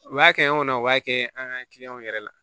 U b'a kɛ an kɔnɔ u b'a kɛ an ka kiliyanw yɛrɛ la